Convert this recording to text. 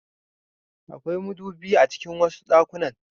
Da akwai madubi a cikin wasu ɗakunan.